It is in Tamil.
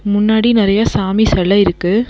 முன்னாடி நறைய சாமி செல இருக்கு.